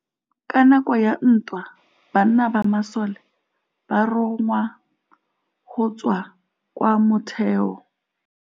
Ka nakô ya dintwa banna ba masole ba rongwa go tswa kwa mothêô.